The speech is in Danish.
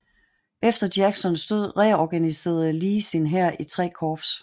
Efter Jacksons død reorganiserede Lee sin hær i tre korps